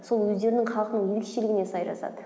сол өздерінің халқының ерекшелігіне сай жазады